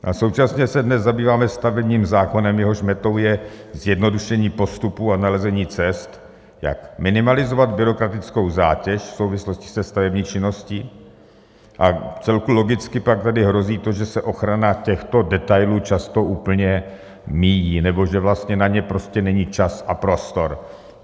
A současně se dnes zabýváme stavebním zákonem, jehož metou je zjednodušení postupů a nalezení cest, jak minimalizovat byrokratickou zátěž v souvislosti se stavební činností, v celku logicky pak tady hrozí to, že se ochrana těchto detailů často úplně míjí nebo že vlastně na ně prostě není čas a prostor.